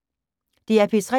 DR P3